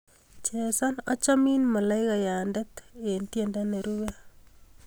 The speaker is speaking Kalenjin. Chesan achamin malaikayande eng tyendo nerupe